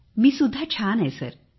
मी सुद्धा छान आहे सर